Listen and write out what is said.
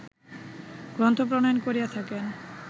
গ্রন্থ প্রণয়ন করিয়া থাকেন